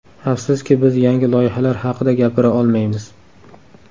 Afsuski, biz yangi loyihalar haqida gapira olmaymiz.